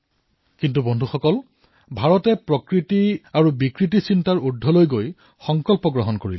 কিন্তু বন্ধুসকল ভাৰতে প্ৰকৃতি বিকৃতিৰ ঊৰ্ধলৈ গৈ নিজৰ সংস্কৃতিৰ অনুৰূপ সিদ্ধান্ত গ্ৰহণ কৰিলে